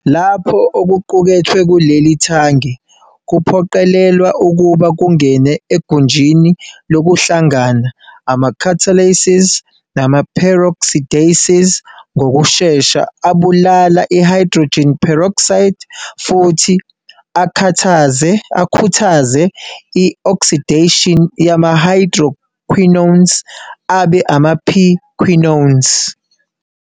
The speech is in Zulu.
Lapho okuqukethwe kuleli thange kuphoqelelwa ukuba kungene egunjini lokuhlangana, ama-catalases nama-peroxidases ngokushesha abulala i-hydrogen peroxide futhi akhuthaze i-oxidation yama-hydroquinones abe ama-p-quinones.